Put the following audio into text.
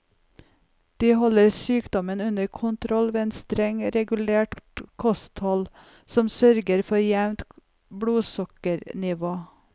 De holder sykdommen under kontroll ved et strengt regulert kosthold som sørger for et jevnt blodsukkernivå.